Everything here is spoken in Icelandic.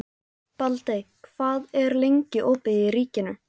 Baldey, hvað er lengi opið í Ríkinu?